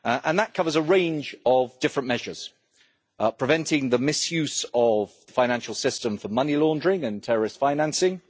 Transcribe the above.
That covers a range of different measures preventing the misuse of the financial system for money laundering and terrorist financing